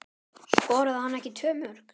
Skoraði hann ekki tvö mörk?